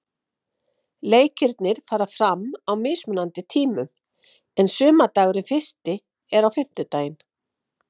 Leikirnir fara fram á mismunandi tímum en sumardagurinn fyrsti er á fimmtudaginn.